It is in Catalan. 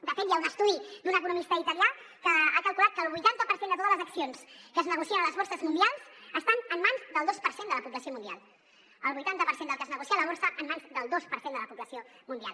de fet hi ha un estudi d’un economista italià que ha calculat que el vuitanta per cent de totes les accions que es negocien a les borses mundials estan en mans del dos per cent de la població mundial el vuitanta per cent del que es negocia a la borsa en mans del dos per cent de la població mundial